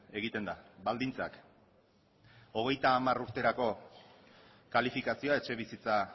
egiten da baldintzak hogeita hamar urterako kalifikazioa etxebizitza